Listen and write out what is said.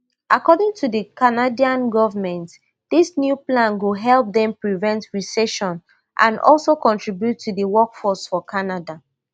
according to di canadian govment dis new plan go help dem prevent recession and also contribute to di workforce for canada